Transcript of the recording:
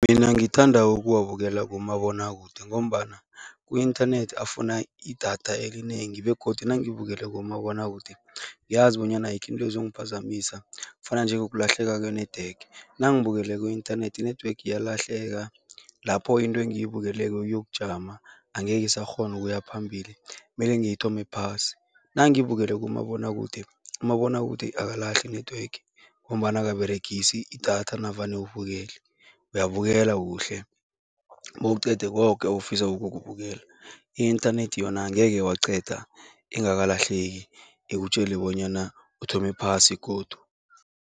Mina ngithanda ukuwabukela kumabonwakude ngombana ku-inthanethi afuna idatha elinengi begodu nangibukele kumabonwakude ngiyazi bonyana ayikho into ezongiphazamisa, kufana njengokulahleka kwe-network. Nangibukele ku-inthanethi i-network iyalahleka, lapho into engiyibukeleko iyokujama, angeke isakghona ukuya phambili mele ngiyithome phasi. Nangibukele kumabonwakude, umabonwakude akalahli i-network ngombana akaberegisi idatha navane ubukele. Uyabukela kuhle, bewuqeda koke ofisa ukukubukela. I-inthanethi yona angeke waqeda ingakalahleki, ikutjele bonyana uthome phasi godu.